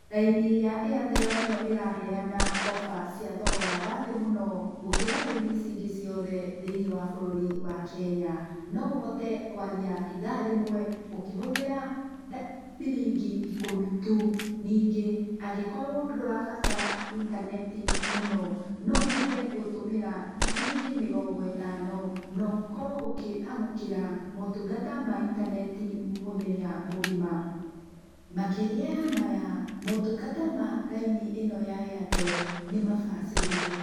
Raini ya Airtel nĩyo ĩraheana offer cia thogora wa thĩ mũno gũkĩra raini ici ingĩ ciothe thĩiniĩ wa bũrũri wa Kenya. No ũhote kũaria ithaa rĩmwe ũkĩhũthĩra ciringi ikũmi tu. Ningĩ, angĩkorwo ndũrabata intaneti mũno, no ũhote gũtũmĩra ciringi mĩrongo ĩtano, na ũkorwo ũkĩamũkĩra, maũtungata ma intaneti mũthenya mũgima. Makĩria ya maya, maũtungata ma raini ĩno ya Airtel nĩmabacĩrĩre.